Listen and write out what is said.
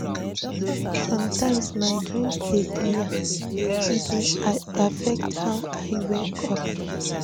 Sometimes, my dreams dey clear, e dey affect how I wake up.